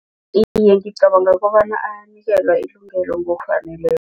Iye, ngibacanga bona ayanikelwa